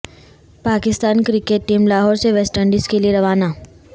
Pakistan cricket team Lahore سے West Indies کے لئے روانہ